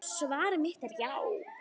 Svar mitt er já.